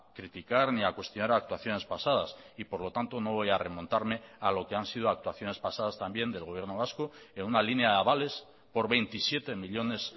criticar ni a cuestionar actuaciones pasadas y por lo tanto no voy a remontarme a lo que han sido actuaciones pasadas también del gobierno vasco en una línea de avales por veintisiete millónes